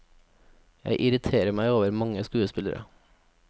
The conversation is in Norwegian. Jeg irriterer meg over mange skuespillere.